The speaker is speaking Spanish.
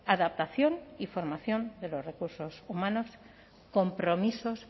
adaptación y formación de los recursos humanos compromisos